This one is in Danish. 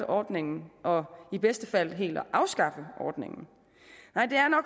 ordningen og i bedste fald helt afskaffe ordningen nej det er